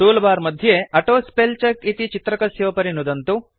tool bar मध्ये auto spell check इति चित्रकस्योपरि नुदन्तु